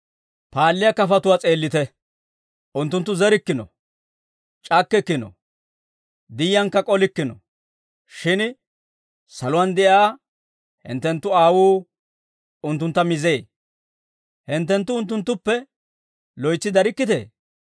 Paalliyaa kafatuwaa s'eellite; unttunttu zerikkino; c'akkikkino; diyyiyankka k'olikkino; shin saluwaan de'iyaa hinttenttu Aawuu unttuntta mizee; hinttenttu unttunttuppe loytsi darikkitee?